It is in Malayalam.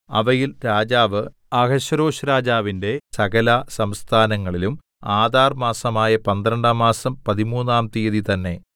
അവയിൽ രാജാവ് അഹശ്വേരോശ്‌രാജാവിന്റെ സകലസംസ്ഥാനങ്ങളിലും ആദാർ മാസമായ പന്ത്രണ്ടാം മാസം പതിമൂന്നാം തീയതി തന്നേ